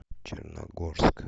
черногорск